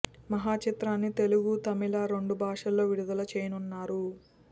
మహా చిత్రాన్ని తెలుగు తమిళ రెండు భాషల్లో విడుదల చేయనున్నారు